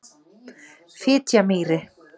Menn og menntir siðskiptaaldarinnar á Íslandi.